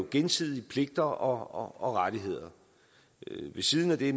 gensidige pligter og rettigheder ved siden af det